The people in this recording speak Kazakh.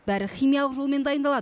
бәрі химиялық жолмен дайындалады